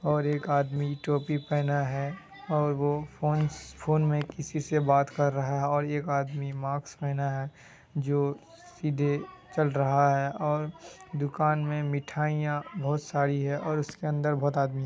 और एक आदमी टोपी पेह ना हैं और वो फोन स फोन मैं किसी से बात कर रहा है। और एक आदमी मास्क पेहना है जो सीधे चल रहा है। और दुकान मैं मिठाई या बोहत सारी है। उसके अंदर बोहत आदमी --